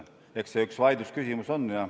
Eks see üks vaidlusküsimus on.